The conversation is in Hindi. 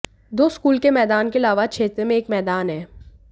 दो स्कूल के मैदान के अलावा क्षेत्र में एक मैदान है